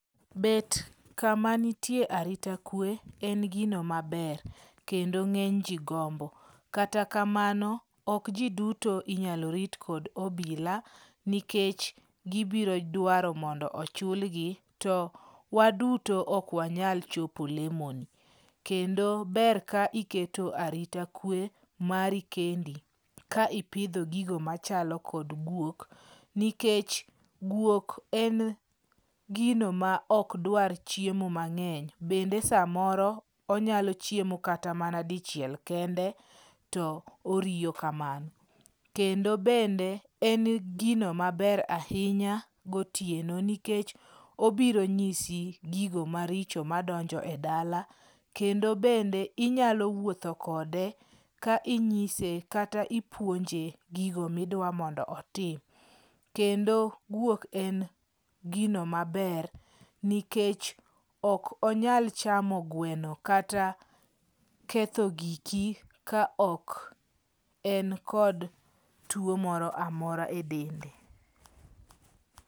Bet kamanitie arita kwe en gino maber kendo ng'enyji gombo. Kata kamano, ok ji duto inyalo rit kod obila nikech gibiro dwaro mondo ochulgi to waduto ok wanyal chopo lemoni. Kendo ber ka iketo arita kwe mari kendi ka ipidho gigo machalo kod gwok. Nikech gwok en gino maok dwar chiemo mang'eny, bende samoro onyalo kata mana chiemo dichiel kende to oriyo kamano. Kendo bende, en gino maber ahinya gotieno nikech obiro nyisi gigo maricho madonjo e dala., kendo bende inyalo wuotho kode ka inyise, kata ipuonje gigo midwa mondo otim. Kendo gwok en gino maber nikech ok onyal chamo gweno kata ketho giki ka ok en kod tuo moro amora e dende.